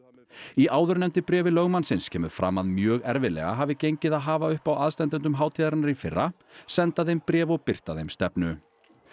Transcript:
í áðurnefndu bréfi lögmannsins kemur fram að mjög erfiðlega hafi gengið að hafa uppi á aðstandendum hátíðarinnar í fyrra senda þeim bréf og birta þeim stefnu